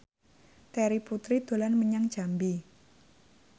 Terry Putri dolan menyang Jambi